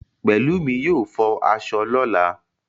Pẹ̀lúmi yóò fọ aṣọ lọ̀la